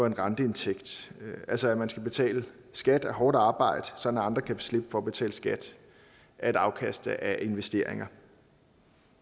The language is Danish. en renteindtægt altså at man skal betale skat af hårdt arbejde sådan at andre kan slippe for at betale skat af et afkast af investeringer